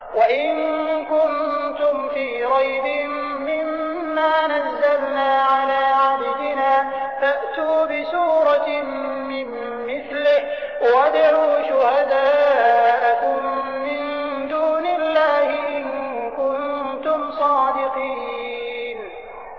وَإِن كُنتُمْ فِي رَيْبٍ مِّمَّا نَزَّلْنَا عَلَىٰ عَبْدِنَا فَأْتُوا بِسُورَةٍ مِّن مِّثْلِهِ وَادْعُوا شُهَدَاءَكُم مِّن دُونِ اللَّهِ إِن كُنتُمْ صَادِقِينَ